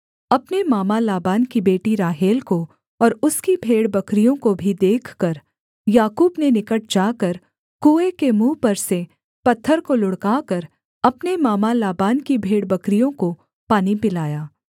अपने मामा लाबान की बेटी राहेल को और उसकी भेड़बकरियों को भी देखकर याकूब ने निकट जाकर कुएँ के मुँह पर से पत्थर को लुढ़काकर अपने मामा लाबान की भेड़बकरियों को पानी पिलाया